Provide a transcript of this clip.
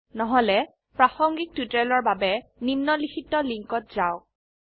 নহলে প্ৰাসঙ্গিক টিউটোৰিয়েলৰ বাবে নিম্নলিখিত লিঙ্কত যাওক